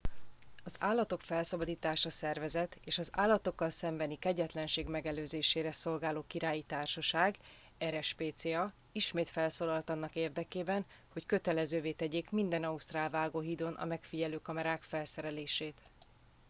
az állatok felszabadítása szervezet és az állatokkal szembeni kegyetlenség megelőzésére szolgáló királyi társaság rspca ismét felszólalt annak érdekében hogy kötelezővé tegyék minden ausztrál vágóhídon a megfigyelő kamerák felszerelését